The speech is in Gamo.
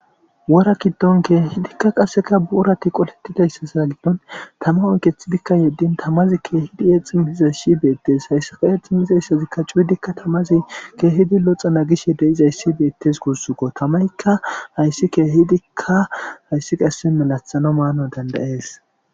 wora kiddon keehidikka qasseka buurati qolettidayssasaa giddon tama oykethidikka yeddin tamazi keehidi eexim hiza shibeettes hayssi kae xim izeysazikka cuyudikka tamazi keehidi loxa na gishe de7izay sibeettes gursukko tamaykka hayssi keehidikka hayssi qasse malathano maano dandayees